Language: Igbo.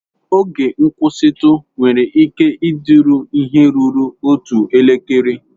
Oge nkwụsịtụ nwere ike ịdịru ihe ruru otu elekere.